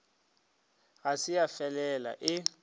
ga se ya felela e